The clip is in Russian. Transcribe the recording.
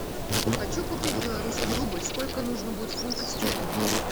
хочу купить белорусский рубль сколько нужно будет фунтов стерлингов